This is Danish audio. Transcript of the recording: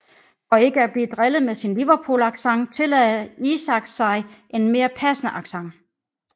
For ikke at blive drillet med sin Liverpoolaccent tillagde Isaacs sig en mere passende accent